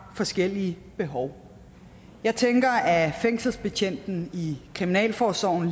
forskellige behov jeg tænker at fængselsbetjenten i kriminalforsorgen